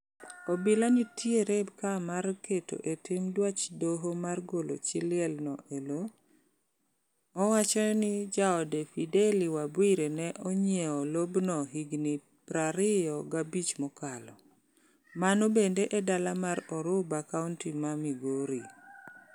Obila nitiere ka mar keto e tim dwach doho mar golo chi liel no e lo. Owacho ni jaode Fedeli Wabwire ne onyieo lobno higni prario gabich mokalo. Mano bende e dala mar Oruba kaunti ma Migori.